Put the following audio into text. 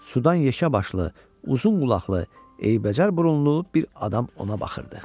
Sudan yekə başlı, uzun qulaqlı, eybəcər burunlu bir adam ona baxırdı.